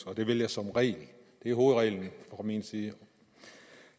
og det vil jeg som regel det er hovedreglen fra min side